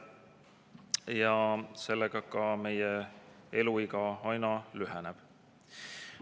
Ja sellega meie eluiga aina lüheneb.